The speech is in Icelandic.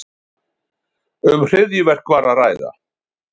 Um hryðjuverk var að ræða